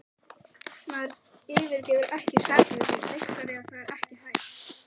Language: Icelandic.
Maður yfirgefur ekki sakleysið, Viktoría, það er ekki hægt.